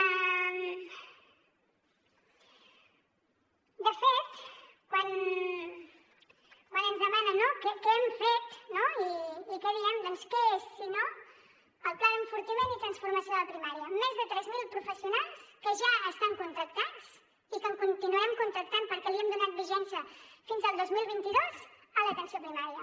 de fet quan ens demana què hem fet què diem què és si no el pla d’enfortiment i transformació de la primària més de tres mil professionals que ja estan contractats i que en continuarem contractant perquè li hem donat vigència fins al dos mil vint dos a l’atenció primària